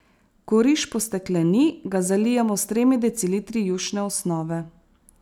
Ko riž postekleni, ga zalijemo s tremi decilitri jušne osnove.